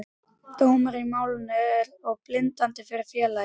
Dómur í málinu er og bindandi fyrir félagið.